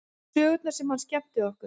Sögurnar sem hann skemmti okkur